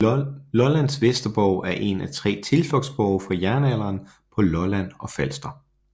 Lollands Vesterborg er en af 3 tilflugtsborge fra jernalderen på Lolland og Falster